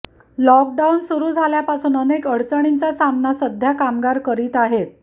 lockdown सुरू झाल्यापासून अनेक अडचणींचा सामना सध्या कामगार करीत आहेत